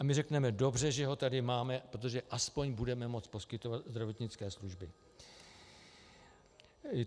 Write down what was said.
A my řekneme: Dobře že ho tady máme, protože aspoň budeme moci poskytovat zdravotnické služby.